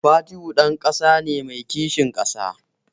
Fatihu ɗan ƙasa ne mai kishin ƙasa.